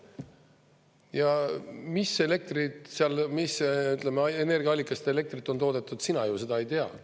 Ja mis elektrit seal, mis, ütleme, energiaallikast elektrit on toodetud, sina seda ju ei tea.